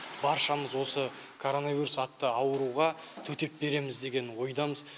баршамыз осы коронавирус атты ауруға төтеп береміз деген ойдамыз